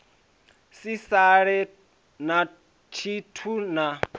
si sale na tshithu na